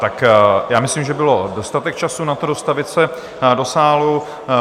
Tak já myslím, že byl dostatek času na to dostavit se do sálu.